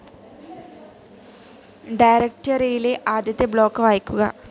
ഡയറക്റ്ററിയിലെ ആദ്യത്തെ ബ്ലോക്ക്‌ വായിക്കുക